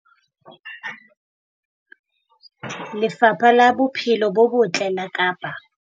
Lefapha la Bophelo bo Botle la Kapa